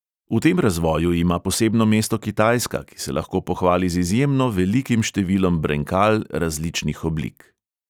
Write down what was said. V tem razvoju ima posebno mesto kitajska, ki se lahko pohvali z izjemno velikim številom brenkal različnih oblik.